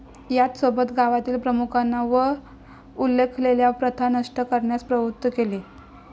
याचसोबत गावातील प्रमुखांना वर उल्लेखलेल्या प्रथा नष्ट करण्यास प्रवृत्त केले.